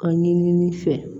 A ɲini fɛ